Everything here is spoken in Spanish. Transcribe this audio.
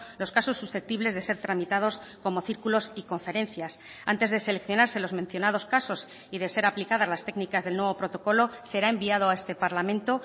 los casos susceptibles de ser tramitados como círculos y conferencias antes de seleccionarse los mencionados casos y de ser aplicadas las técnicas del nuevo protocolo será enviado a este parlamento